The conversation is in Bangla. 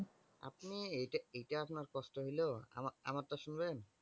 আপনি এইটা এইটা আপনার কষ্ট হইলো? আমার আমারটা শুনবেন!